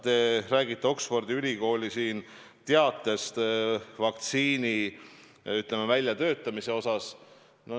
Te räägite Oxfordi ülikooli teatest vaktsiini väljatöötamise kohta.